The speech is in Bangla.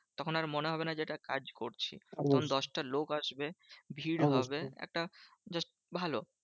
তখন আর মনে হবে না যে, এটা কাজ করছি। তখন দশটা লোক আসবে ভিড় হবে একটা just ভালো।